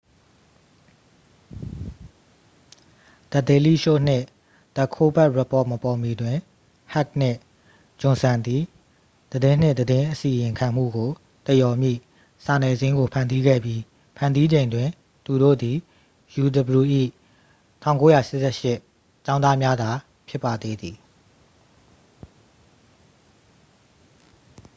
the daily show နှင့် the colbert report မပေါ်မီတွင် ဟက်နှင့် ဂျွန်ဆန်သည် သတင်းနှင့် သတင်းအစီရင်ခံမှုကို သရော်မည့် စာနယ်ဇင်းကို ဖန်တီးခဲ့ပြီး ဖန်တီးချိန်တွင် သူတို့သည် uw ၏ 1988 ကျောင်းသားများသာ ဖြစ်ပါသေးသည်